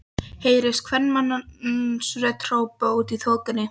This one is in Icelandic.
heyrist kvenmannsrödd hrópa úti í þokunni.